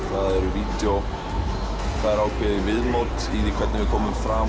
vídeó það er ákveðið viðmót í því hvernig við komum fram